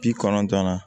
Bi kɔnɔntɔn na